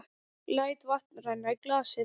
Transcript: Læt vatn renna í glasið.